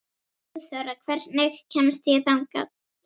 Sigþóra, hvernig kemst ég þangað?